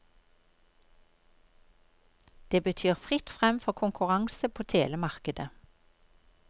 Det betyr fritt frem for konkurranse på telemarkedet.